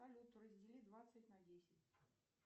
салют раздели двадцать на десять